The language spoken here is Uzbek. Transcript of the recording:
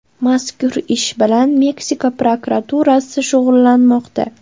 Mazkur ish bilan Meksika prokuraturasi shug‘ullanmoqda.